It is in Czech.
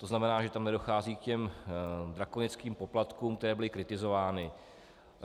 To znamená, že tam nedochází k těm drakonickým poplatkům, které byly kritizovány.